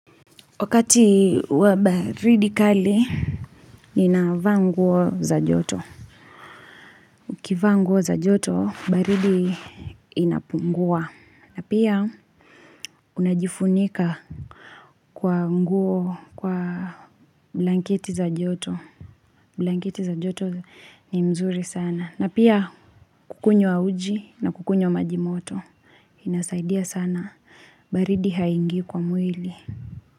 Wakati wa baridi kali, ninavaa nguo za joto. Ukivaa nguo za joto, baridi inapungua. Na pia, unajifunika kwa nguo kwa blanketi za joto. Blankiti za joto ni mzuri sana. Na pia, kukunywa uji na kukunywa maji moto. Inasaidia sana. Baridi haingi kwa mwili.